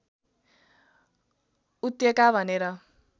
उत्यका भनेर